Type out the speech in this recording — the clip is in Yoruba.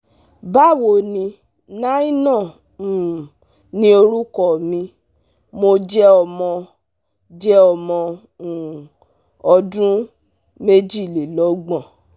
ba wo ni Naina um ni orukọ mi, mo jẹ ọmọ jẹ ọmọ um ọdun mejilelogbon